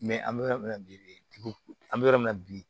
an bɛ yɔrɔ min na bi bi an bɛ yɔrɔ min na bi